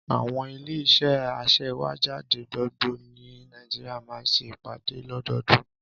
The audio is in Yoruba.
Àwọn ilé-iṣẹ́ aṣèwéjádé gbogbo ní Nàìjíríà máa ń ṣe ìpàdé lọ́dọọdún.